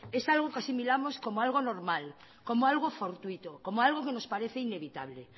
es algo que asimilamos como algo normal como algo fortuito como algo que nos parece inevitable